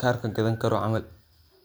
kar kagadhani karo camal.